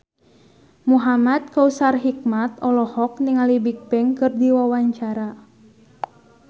Muhamad Kautsar Hikmat olohok ningali Bigbang keur diwawancara